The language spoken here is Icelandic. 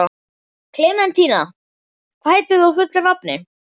Klementína, hvað heitir þú fullu nafni?